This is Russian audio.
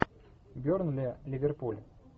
бернли ливерпуль